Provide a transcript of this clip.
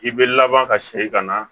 I bɛ laban ka segin ka na